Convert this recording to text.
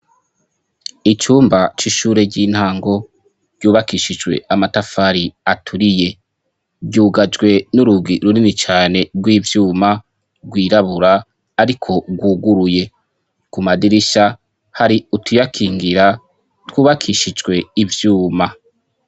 Icumba c'ishuri ryintango ryubakishijwe amatafari aturiye ryugajwe n'urugi runini cyane runini cane rw'ivyuma rwirabura ariko guguruye ku madirisha hari utuyakingira twubakishijwe ivyuma.